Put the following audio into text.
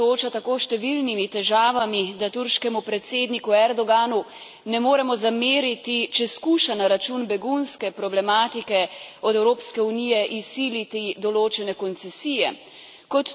Država se sooča s tako številnimi težavami, da turškemu predsedniku Erdoganu ne moremo zameriti, če skuša na račun begunske problematike od Evropske unije izsiliti določene koncesije.